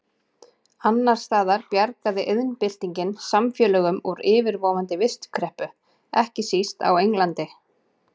Annars staðar bjargaði iðnbyltingin samfélögum úr yfirvofandi vistkreppu, ekki síst á Englandi.